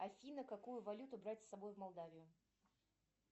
афина какую валюту брать с собой в молдавию